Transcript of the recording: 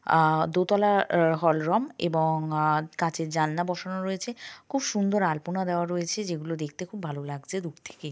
আ দোতলার এ- hall room এবং আ-কাচের জানলা বসানো রয়েছে খুব সুন্দর আলপনা দেওয়া রয়েছে যেগুলো দেখতে খুব ভালো লাগছে দূর থেকে।